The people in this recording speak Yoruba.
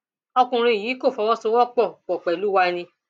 ọkùnrin yìí kò fọwọ sowọ pọ pọ pẹlú wa ni